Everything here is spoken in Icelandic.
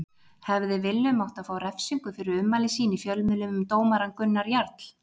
Hefði Willum átt að fá refsingu fyrir ummæli sín í fjölmiðlum um dómarann Gunnar Jarl?